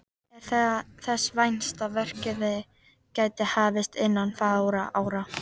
Er þess vænst að verkið geti hafist innan fárra ára.